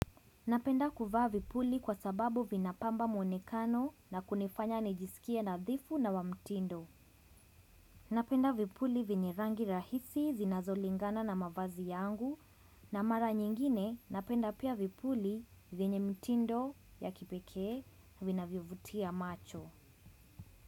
Napenda kuvaa vipuli kwa sababu vinapamba monekano na kunifanya nijisikie nadhifu na wa mtindo. Napenda vipuli venye rangi rahisi zinazolingana na mavazi yangu na mara nyingine napenda pia vipuli venye mtindo ya kipekee vinavyo vutia macho.